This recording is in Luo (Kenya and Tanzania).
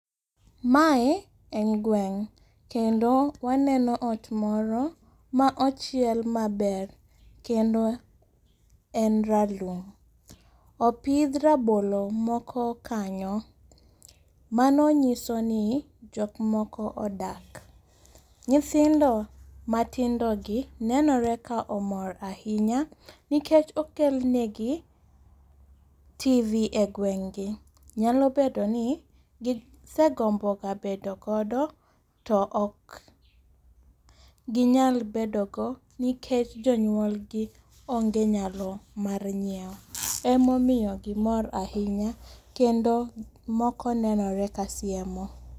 Mae en gweng'. Kendo waneno ot moro, ma ochiel maber. Kendo en ralum. Opidh rabolo moko kanyo. Mano nyiso ni jokmoko odak. Nyithindo matindo gi nenore ka omor ahinya, nikech okelnegi TV e gweng'gi. Nyalo bedo ni gisegombo ga bedo godo to okginyal bedogo nikech jonyuolgi onge nyalo mar nyiewo. Ema omiyo gimor ahinya, kendo moko nenore kasiemo.